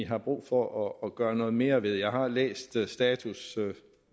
har brug for at gøre noget mere ved jeg har læst statuspapiret